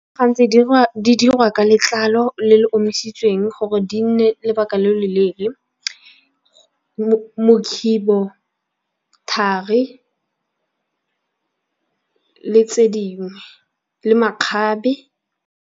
Gantsi di dirwa ka letlalo le le omisitsweng gore di nne lobaka lo loleele. Mokhibo, thari le tse dingwe le makgabe.